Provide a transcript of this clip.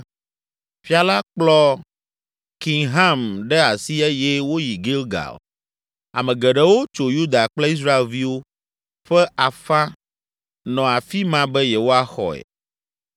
Fia la kplɔ Kimham ɖe asi eye woyi Gilgal. Ame geɖewo tso Yuda kple Israelviwo ƒe afã nɔ afi ma be yewoaxɔe.